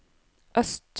øst